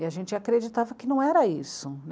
E a gente acreditava que não era isso.